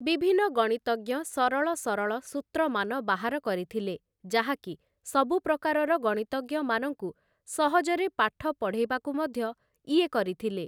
ବିଭିନ୍ନ ଗଣିତଜ୍ଞ ସରଳ ସରଳ ସୂତ୍ରମାନ ବାହାର କରିଥିଲେ, ଯାହାକି ସବୁ ପ୍ରକାରର ଗଣିତଜ୍ଞମାନଙ୍କୁ ସହଜରେ ପାଠ ପଢ଼େଇବାକୁ ମଧ୍ୟ ଇଏ କରିଥିଲେ ।